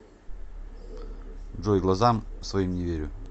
джой глазам своим не верю